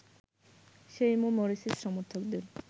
সেই মো মোরসির সমর্থকদের